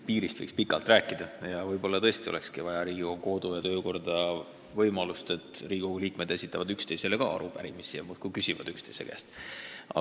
Piirist võiks pikalt rääkida ja võib-olla tõesti oleks vaja Riigikogu kodu- ja töökorda võimalust, et Riigikogu liikmed esitavad ka üksteisele arupärimisi, nii et saame üksteise käest küsida.